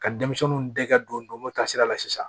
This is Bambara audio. Ka denmisɛnninw dɛgɛ don mo taasira la sisan